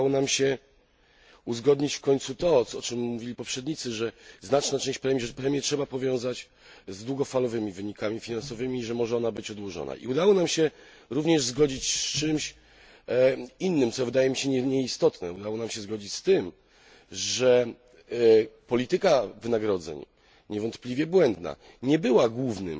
Udało nam się uzgodnić w końcu to, o czym mówili poprzednicy, że premię trzeba powiązać z długofalowymi wynikami finansowymi i że może ona być odłożona. I udało nam się również zgodzić z czymś innym, co wydaje mi się nie mniej istotne, udało nam się zgodzić z tym, że polityka wynagrodzeń, niewątpliwie błędna, nie była główną,